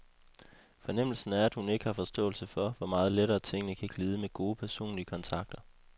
Fornemmelsen er, at hun ikke har forståelse for, hvor meget lettere, tingene kan glide, med gode, personlige kontakter.